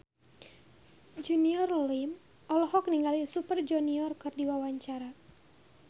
Junior Liem olohok ningali Super Junior keur diwawancara